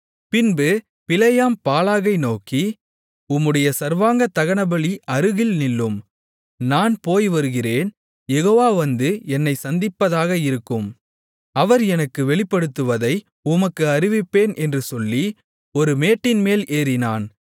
பின்பு பிலேயாம் பாலாகை நோக்கி உம்முடைய சர்வாங்கதகனபலி அருகில் நில்லும் நான் போய்வருகிறேன் யெகோவா வந்து என்னைச் சந்திப்பதாக இருக்கும் அவர் எனக்கு வெளிப்படுத்துவதை உமக்கு அறிவிப்பேன் என்று சொல்லி ஒரு மேட்டின்மேல் ஏறினான்